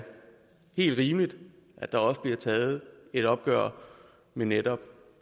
helt rimeligt at der også bliver taget et opgør med netop